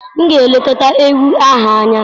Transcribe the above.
M ga-elekọta ewi ahụ anya.